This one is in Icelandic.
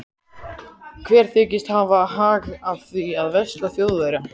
Hver þykist hafa hag af því að versla við Þjóðverja?